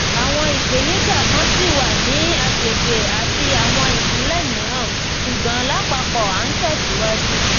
awọn ipenija kan ṣi wa ni agbegbe ati awọn ipinlẹ miiran ṣugbọn lapapọ a n tẹsiwaju